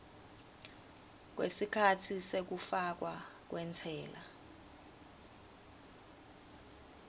kwesikhatsi sekufakwa kwentsela